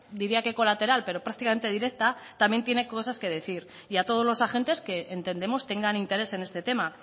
diría que colateral pero prácticamente directa también tiene cosas que decir y a todos los agentes que entendemos tengan interés en este tema